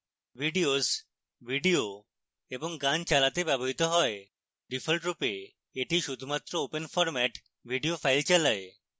videos videos এবং গান চালাতে ব্যবহৃত হয় ডিফল্টরূপে এটি শুধুমাত্র open ফরম্যাট videos files চালায়